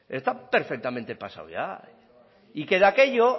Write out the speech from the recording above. está perfectamente pasado ya y que de aquello